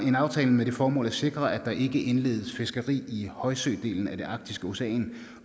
en aftale med det formål at sikre at der ikke indledes fiskeri i højsødelen af det arktiske ocean